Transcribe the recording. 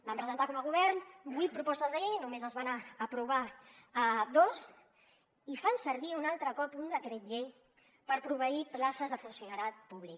van presentar com a govern vuit propostes de llei només se’n van aprovar dos i fan servir un altre cop un decret llei per proveir places de funcionariat públic